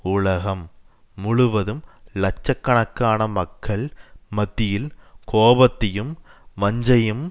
உலகம் முழுவதும் இலட்ச கணக்கான மக்கள் மத்தியில் கோபத்தையும் வஞ்சையும்